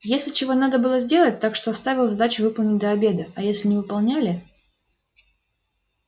если чего надо было сделать так что ставил задачу выполнить до обеда а если не выполняли